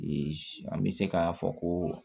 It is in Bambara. an bɛ se k'a fɔ ko